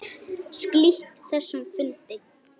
Slít þessum fundi.